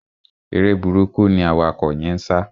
Eré burúkú ni awakọ̀ yẹ́n ń sá.